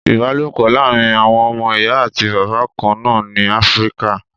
Ìbálòpọ̀ láàrin àwọn ọmọ Ìyá àti Bàbá kan náà ni Áfríkà.